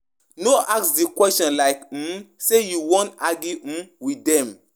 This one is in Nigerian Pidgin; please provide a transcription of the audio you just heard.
No ask the question like um Say you want um argue um with them